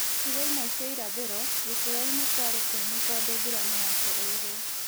Icigo imwe cia irathĩro, gĩcua-inĩ kwarĩ kũmũ tondũ mbura nĩyacereirwo